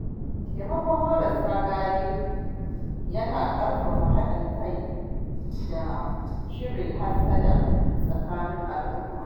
Taimakon marasa galihu na ƙarfafa haɗin kai da cire hassada tsakanin al-umma